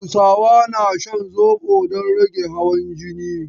Hausawa na shan zobo don rage hawan jini.